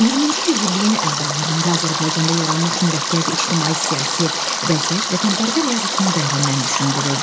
20-ci yüzilliyin əvvəllərində Azərbaycanda yaranmış mürəkkəb ictimai-siyasi vəziyyət vətənpərvər yazıçını dərindən düşündürürdü.